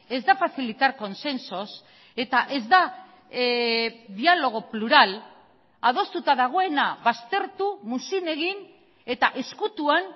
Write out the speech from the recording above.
ez da facilitar consensos eta ez da diálogo plural adostuta dagoena baztertu muzin egin eta ezkutuan